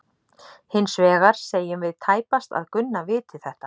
Hins vegar segjum við tæpast að Gunna viti þetta.